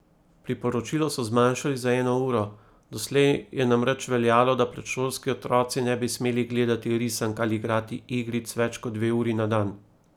Priporočilo so zmanjšali za eno uro, doslej je namreč veljalo, da predšolski otroci ne bi smeli gledati risank ali igrati igric več kot dve uri na dan.